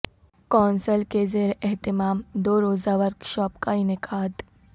council کے زیر اہتمام دو روزہ ورکشاپ کا انعقاد